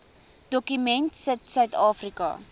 dokument sit suidafrika